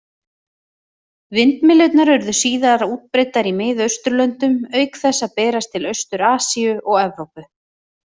Vindmyllurnar urðu síðar útbreiddar í Mið-Austurlöndum, auk þess að berast til Austur-Asíu og Evrópu.